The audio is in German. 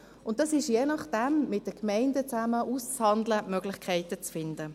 Und das ist je nachdem mit den Gemeinden zusammen auszuhandeln, um Möglichkeiten zu finden.